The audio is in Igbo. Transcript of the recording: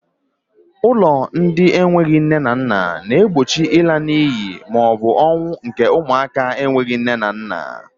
Ụlọ ndị enweghị nne na nna na-egbochi ịla n'iyi maọbụ ọnwụ nke ụmụaka enweghị nne na nna.